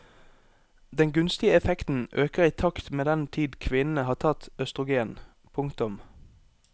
Den gunstige effekten øker i takt med den tid kvinnene har tatt østrogen. punktum